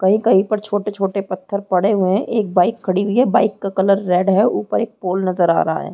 कही-कहीं पर छोटे-छोटे पत्थर पड़े हुए है एक बाइक खड़ी है बाइक का कलर रेड है ऊपर एक पोल नज़र आ रहा है।